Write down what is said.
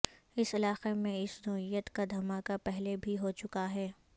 اس علاقے میں اس نوعیت کا دھماکہ پہلے بھی ہوچکا ہے